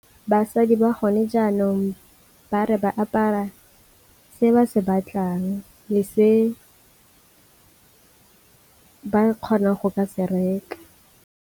Basadi ba gone jaanong ba re ba apara se ba se batlang le se ba kgonang go ka se reka.